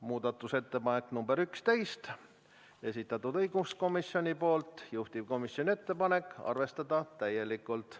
Muudatusettepanek nr 11, esitanud õiguskomisjon, juhtivkomisjoni ettepanek: arvestada täielikult.